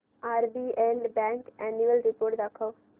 RBL bank annual report दाखव